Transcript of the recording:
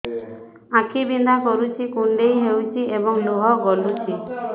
ଆଖି ବିନ୍ଧା କରୁଛି କୁଣ୍ଡେଇ ହେଉଛି ଏବଂ ଲୁହ ଗଳୁଛି